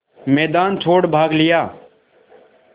मैदान छोड़ भाग लिया